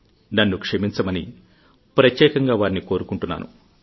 నన్ను క్షమించమని ప్రత్యేకంగా వారిని కోరుకుంటున్నాను